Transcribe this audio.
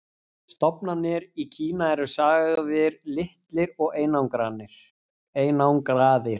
stofnarnir í kína eru sagðir litlir og einangraðir